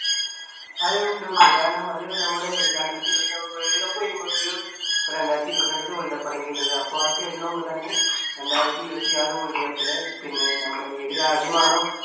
അതെ ഉണ്ട് ഉണ്ട്. കാരണം അത് നമ്മുടെ രണ്ടായിരത്തി ഇരുപത്തിരണ്ടിലെ വേൾഡ് കപ്പ് കഴിയുമ്പോ ഒരു, ഇപ്പോ രണ്ടായിരത്തി ഇരുപത്തിരണ്ടിത്തെ വേൾഡ് കപ്പാണ് കഴിഞ്ഞത്. അപ്പോ അത് കഴിയണ മുൻപുതന്നെ രണ്ടായിരത്തി ഇരുപത്തിയാറ് വേൾഡ് കപ്പിലെ പിന്നെ നമ്മുടെ ഏത് രാജ്യമാണോ